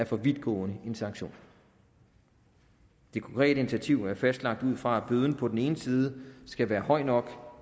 for vidtgående sanktion det konkrete initiativ er fastlagt ud fra at bøden på den ene side skal være høj nok